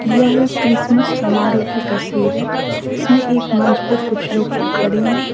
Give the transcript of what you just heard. यह क्रिसमस समारोह की तस्वीर है इसमें एक मंच पर कुछ लोग खड़े हैं।